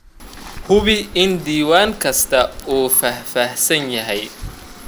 Hubi in diiwaan kasta uu faahfaahsan yahay.